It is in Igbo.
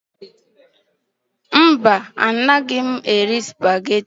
Mba, anaghị m eri Supagetii